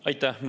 Aitäh!